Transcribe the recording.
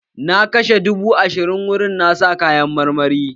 Na kashe dubu ashirin wurin sayan kayan marmari